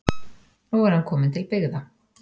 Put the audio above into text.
Nú er hann kominn til byggða